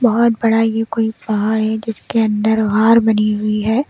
बहुत बड़ा ये कोई पहाड़ है जिसके अंदर बनी हुई है।